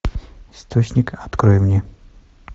источник открой мне